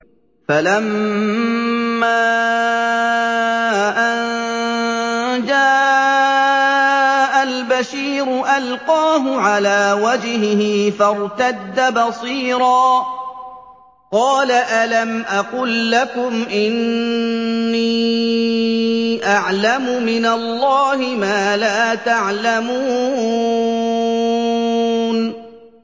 فَلَمَّا أَن جَاءَ الْبَشِيرُ أَلْقَاهُ عَلَىٰ وَجْهِهِ فَارْتَدَّ بَصِيرًا ۖ قَالَ أَلَمْ أَقُل لَّكُمْ إِنِّي أَعْلَمُ مِنَ اللَّهِ مَا لَا تَعْلَمُونَ